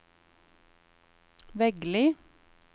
Veggli